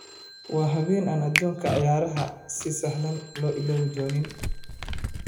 Waa habeen aan adduunka ciyaaraha si sahlan loo illoobi doonin.